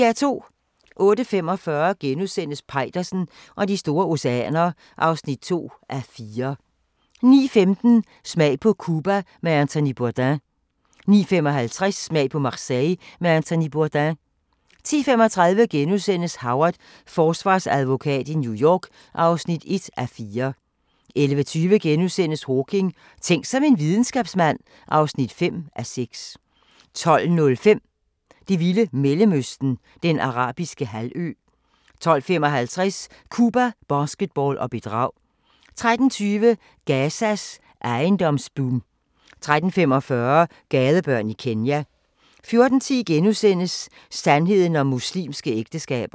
08:45: Peitersen og de store oceaner (2:4)* 09:15: Smag på Cuba med Anthony Bourdain 09:55: Smag på Marseille med Anthony Bourdain 10:35: Howard – forsvarsadvokat i New York (1:4)* 11:20: Hawking: Tænk som en videnskabsmand (5:6)* 12:05: Det vilde Mellemøsten – Den Arabiske Halvø 12:55: Cuba, basketball og bedrag 13:20: Gazas ejendomsboom 13:45: Gadebørn i Kenya 14:10: Sandheden om muslimske ægteskaber *